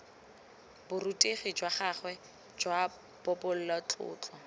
borutegi jwa gagwe jwa bobalatlotlo